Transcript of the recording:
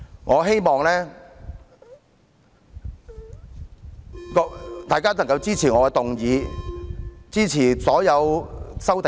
我希望大家能夠支持我提出的議案，以及所有修正案。